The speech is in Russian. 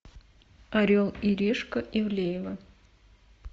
орел и решка ивлеева